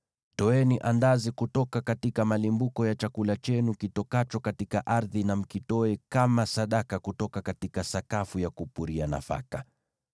Toeni andazi kutoka kwa malimbuko ya chakula chenu kitokacho katika ardhi, na mkitoe kama sadaka kutoka sakafu ya kupuria nafaka.